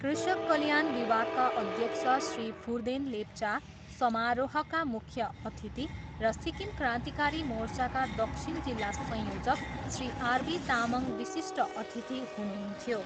कृषक कल्याण विभागका अध्यक्ष श्री फुर्देन लेप्चा समारोहका मुख्य अतिथि र सिक्किम क्रान्तिकारी मोर्चाका दक्षिण जिल्ला संयोजक श्री आरबी तामाङ विशिष्ट अतिथि हुनुहुन्थ्यो।